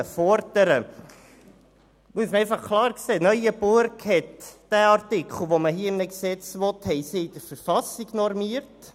Man muss klar sehen, dass Neuenburg diesen Artikel, den man hier im Gesetz wünscht, in der Verfassung normiert.